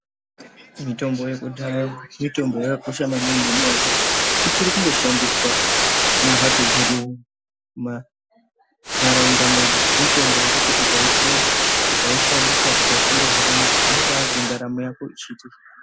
Mutombo yekudhaya mutombo yakakosha maningi nenyaya yekuti ichiri kungoshandiswa mumhatso dzedu ma ntaraunda medu mutombo yekuti ukaipuwa ukaishandisa ikashanda zvakanaka unobaazwa ndaramo yako ichiti.